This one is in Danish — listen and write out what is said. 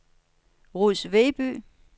Ruds Vedby